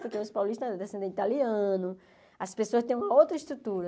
Porque os paulistas é descendente italiano, as pessoas têm uma outra estrutura.